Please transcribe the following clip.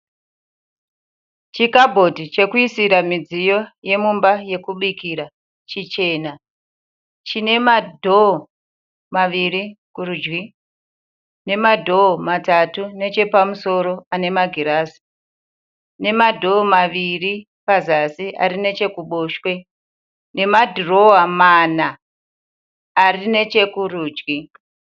Chikabhodhi chekuira midziyo yemumba yekubira chichena chine madhoo maviri kurudyi nemadhoo matatu nechepamusoro anemagirazi nemadhoo maviri pazasi arinechekuboshwe nemadhirowa mana arinechekurudyi.